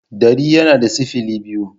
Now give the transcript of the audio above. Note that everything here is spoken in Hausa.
dari yana da sifili biyu.